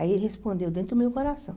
Aí ele respondeu dentro do meu coração.